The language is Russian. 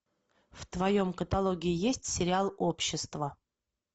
в твоем каталоге есть сериал общество